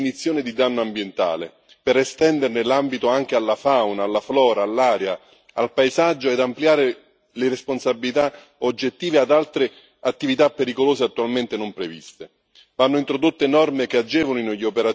Occorre innanzitutto una riformulazione della definizione di danno ambientale per estenderne l'ambito anche alla fauna, alla flora, all'aria e al paesaggio e ampliare le responsabilità oggettive ad altre attività pericolose attualmente non previste.